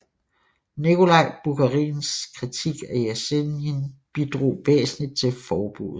Nikolaj Bukharins kritik af Jesenin bidrog væsentligt til forbuddet